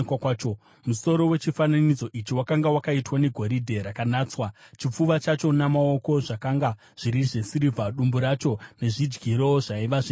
Musoro wechifananidzo ichi wakanga wakaitwa negoridhe rakanatswa, chipfuva chacho namaoko zvakanga zviri zvesirivha; dumbu racho nezvidyiro zvaiva zvendarira,